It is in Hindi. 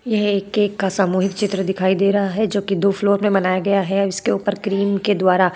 यह एक केक का सामूहिक चित्र दिखाई दे रहा है जोकि दो फ्लोर में बनाया गया है। इसके ऊपर क्रीम के द्वारा --